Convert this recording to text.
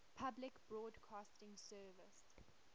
public broadcasting service